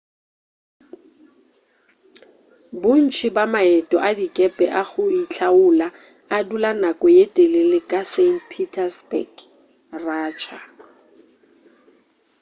bontši bja maeto a dikepe a go itlhaola a dula nako ye telele ka st petersburg russia